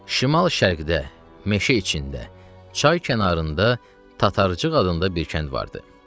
Şimal-şərqdə, meşə içində, çay kənarında Tatarcıq adında bir kənd vardı.